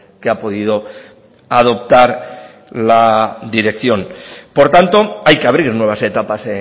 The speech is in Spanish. que ha podido adoptar la dirección por tanto hay que abrir nuevas etapas